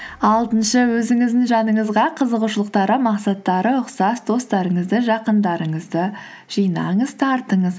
алтыншы өзіңіздің жаныңызға қызығушылықтары мақсаттары ұқсас достарыңызды жақындарыңызды жинаңыз тартыңыз